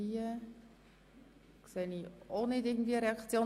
–Ich sehe keine Reaktion.